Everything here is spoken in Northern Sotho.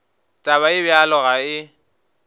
taba ye bjalo ga e